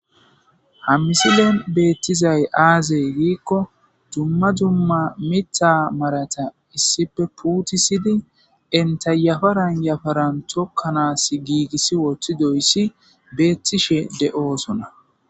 ha misilen beettizay aazey giikko dumma dumma mitta marata issipe puutisidi entayafa ranyafaran tokkanaas giigissi woththi doyssi beettishe de7oosona